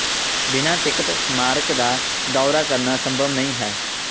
ਬਿਨਾਂ ਟਿਕਟ ਸਮਾਰਕ ਦਾ ਦੌਰਾ ਕਰਨਾ ਸੰਭਵ ਨਹੀਂ ਹੈ